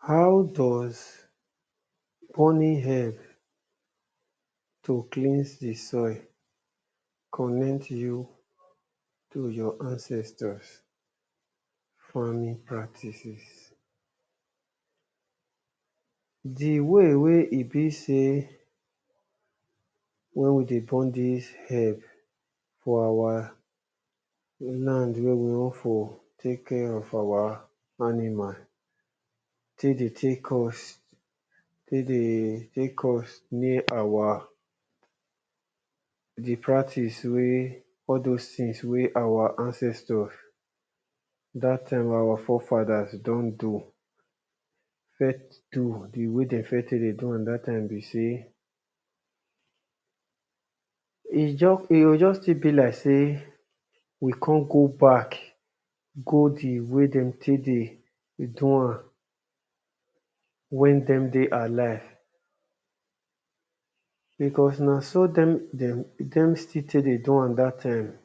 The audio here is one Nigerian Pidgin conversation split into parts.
How does burning herb to cleans di soil connects you to your ancestors farming practices? Di way wey e be sey wen we dey burn dis herb for our land wey we wan for take care of our animal take dey take us, e take dey take us near our di practice, all doz things wey wey our ancestor dat time wey our fore fathers don do first do, di way wey dem first take dey do am dat time be sey e just, e go just still be like sey we come go back go di way dem take dey do am wen dem dey alive, because na so dem dem still take dey do am dat time,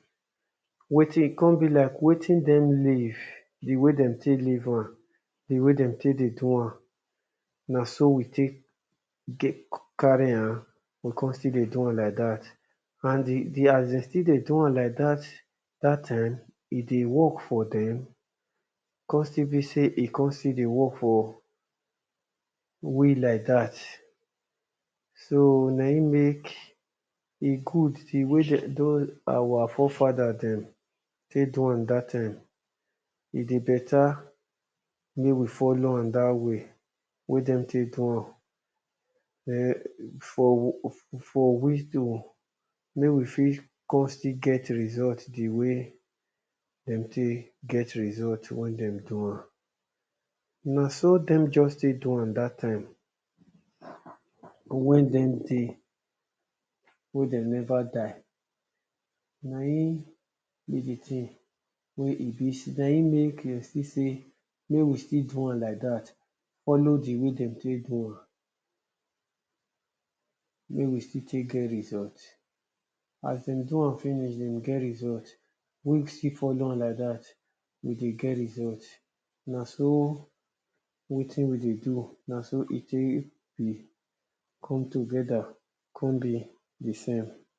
wetin e come be like wetin dem leave, di way dem take leave am, di way dem take dey do am na so we take get, carry am we come still dey do am like dat and di di as dem still dey do am like dat time e dey work fro dem, e come still be sey e dey still dey work for us like dat so na im make e good di way dem don, our fore father dem take do am dat time, e dey better make we follow am dat way wey dem take do am, den for for we to make we fit come still get result di way dem take get result wen dem do am. Na so dem just take do am dat time wen dem dey, wen dem never die na im be di thing wey e be sey, na im make dem still sey make we still do am like dat foolow di way dem take do am, make we still take get result, as dem finish dem get result, we too still follow am like dat we dey get result, na so wetin we dey do na so e take come together come be the same.